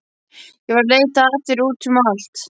Ég var að leita að þér út um allt.